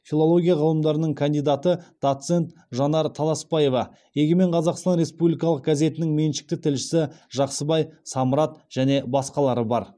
филология ғылымдарының кандидаты доцент жанар таласпаева егемен қазақстан республикалық газетінің меншікті тілшісі жақсыбай самрат және басқалары бар